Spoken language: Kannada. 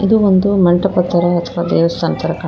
ಇದು ಒಂದು ಮಂಟಪ ತರ ದೇವಸ್ಥಾನ ಕಾಣ್ತಾ ಇದೆ.